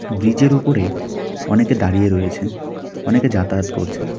ব্রীজের ওপরে অনেকে দাঁড়িয়ে রয়েছেন অনেকে যাতায়াত করছেন.